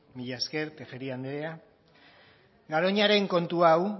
mila esker tejeria anderea garoñaren kontu hau